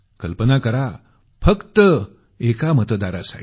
कल्पना करा फक्त एका मतदारासाठी